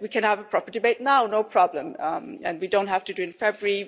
We can have a proper debate now, no problem, we don't have to do it in February.